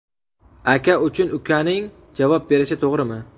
Aka uchun ukaning javob berishi to‘g‘rimi?